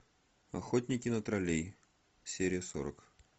охотники на троллей серия сорок